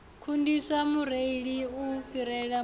kundisa mureili u fhirela vhuṋwe